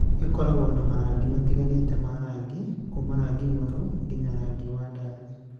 Ĩkoragwo na marangi matiganĩte ma rangi, kuuma rangi mwerũ nginya wa rangi wa ndathi.